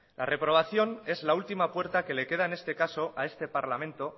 la reprobación es la última puerta que le queda en este caso a este parlamento